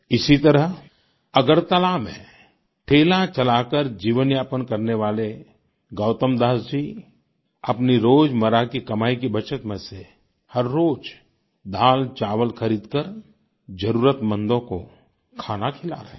इसी तरह अगरतला में ठेला चलाकर जीवनयापन करने वाले गौतमदास जी अपनी रोजमर्रा की कमाई की बचत में से हर रोज़ दालचावल खरीदकर जरुरतमंदों को खाना खिला रहे हैं